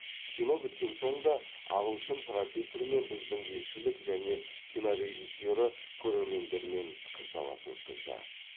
кино біткен соң да ағылшын профессор мен біздің елшілік және кино режиссері көрермендермен пікірталас өткізді